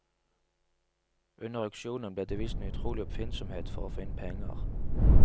Under auksjonen ble det vist en utrolig oppfinnsomhet for å få inn penger.